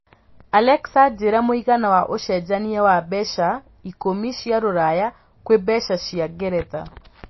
Alexa njĩira mũigana wa ũcenjanĩa wa mbeca ikũmi cia rũraya kwĩ mbeca cia ngeretha